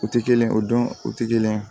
O tɛ kelen o don o tɛ kelen ye